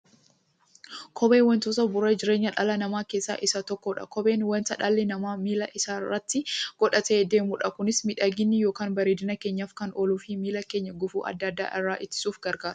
Kopheen wantoota bu'uura jireenya dhala namaa keessaa isa tokkodha. Kopheen wanta dhalli namaa miilla isaatti godhatee deemudha. Kunis miidhagani yookiin bareedina keenyaf kan ooluufi miilla keenya gufuu adda addaa irraa ittisuuf gargaara.